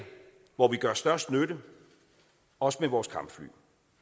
hvor vi gør størst nytte også med vores kampfly